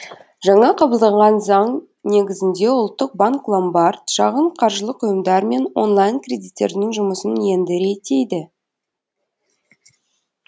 жаңа қабылданған заң негізінде ұлттық банк ломбард шағын қаржылық ұйымдар мен онлайн кредиттерінің жұмысын енді реттейді